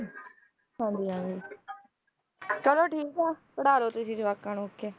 ਹਾਂਜੀ ਹਾਂਜੀ ਚਲੋ ਠੀਕ ਹੈ ਪੜ੍ਹਾ ਲਓ ਤੁਸੀਂ ਜਵਾਕਾਂ ਨੂੰ okay